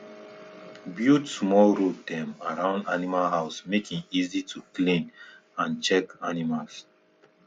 build small road dem around animal house make e easy to clean and check animals